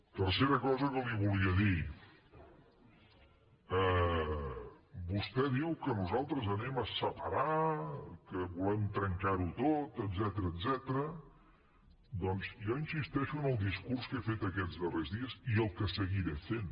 tercera cosa que li volia dir vostè diu que nosaltres anem a separar que volem trencar ho tot etcètera doncs jo insisteixo en el discurs que he fet aquests darrers dies i el que seguiré fent